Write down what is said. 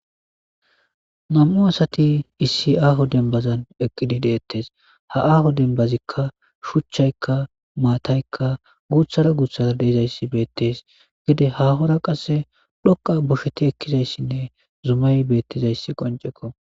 nam7u asati issi aaho denbazan eqqidi deettes ha aaho dembazikka shuchchaykka maataykka guuthara guuthara deezayssi beettes gide hahora qasse dhoqa bosheti ekkizayssinne zumay beettizayssi qoncekko